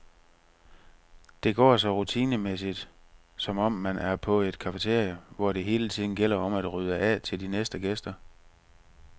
Det går så rutinemæssigt, som om man er på et cafeteria, hvor det hele tiden gælder om at rydde af til de næste gæster.